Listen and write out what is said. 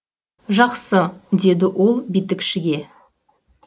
жақсы деді ол битікшіге